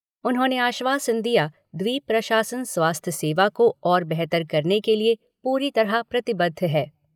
उन्होंने आश्वासन दिया द्वीप प्रशासन स्वास्थ्य सेवा को और बेहतर करने के लिए पूरी तरह प्रतिबद्ध है।